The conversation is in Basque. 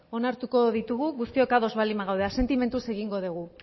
onartuko ditugu guztiok ados baldin bagaude asentimentuz egingo degu